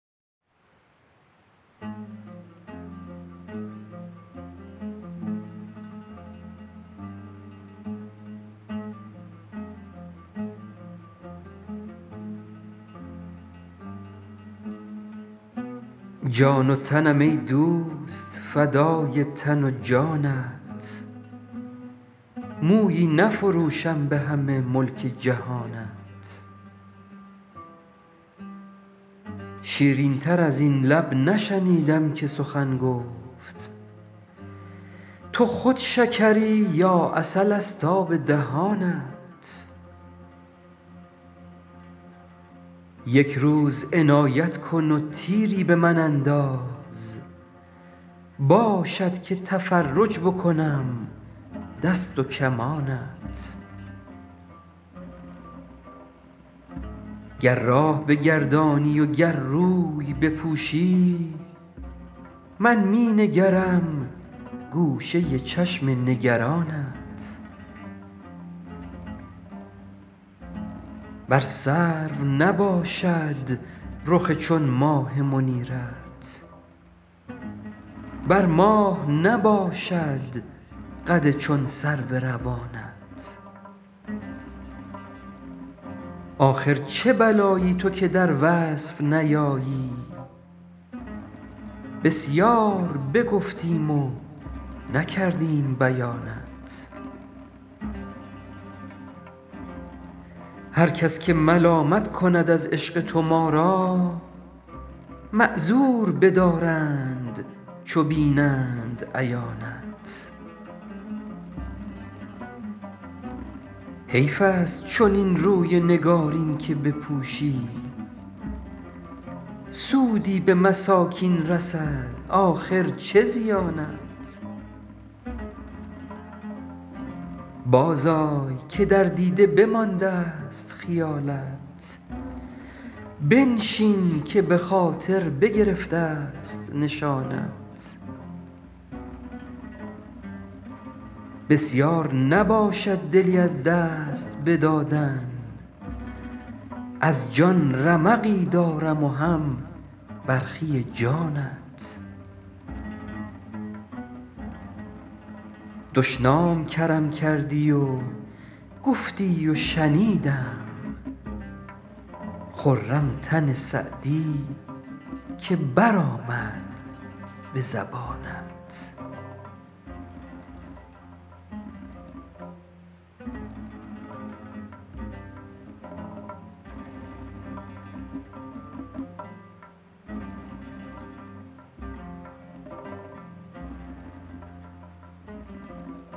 جان و تنم ای دوست فدای تن و جانت مویی نفروشم به همه ملک جهانت شیرین تر از این لب نشنیدم که سخن گفت تو خود شکری یا عسل ست آب دهانت یک روز عنایت کن و تیری به من انداز باشد که تفرج بکنم دست و کمانت گر راه بگردانی و گر روی بپوشی من می نگرم گوشه چشم نگرانت بر سرو نباشد رخ چون ماه منیرت بر ماه نباشد قد چون سرو روانت آخر چه بلایی تو که در وصف نیایی بسیار بگفتیم و نکردیم بیانت هر کس که ملامت کند از عشق تو ما را معذور بدارند چو بینند عیانت حیف ست چنین روی نگارین که بپوشی سودی به مساکین رسد آخر چه زیانت بازآی که در دیده بماندست خیالت بنشین که به خاطر بگرفت ست نشانت بسیار نباشد دلی از دست بدادن از جان رمقی دارم و هم برخی جانت دشنام کرم کردی و گفتی و شنیدم خرم تن سعدی که برآمد به زبانت